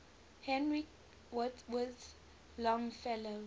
henry wadsworth longfellow